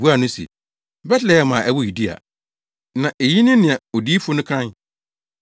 Wobuaa no se, “Betlehem a ɛwɔ Yudea. Na eyi ne nea odiyifo no kae: